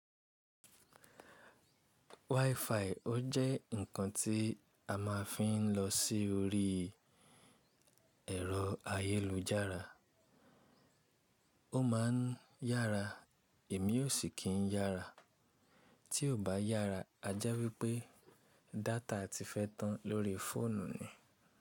WiFi ó jẹ́ ǹkan tí a máa fi ń lọ sí orí ẹ̀rọ ayélujára. Ó máa ń yára, imi ò sì kí ń yára. Tí kò bá yára, a jẹ́ wípé data ti fẹ́ tán lórí fóònù ni.